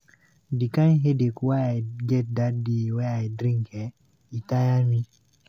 Di kind headache wey I get dat day wey I drink eh e tire me.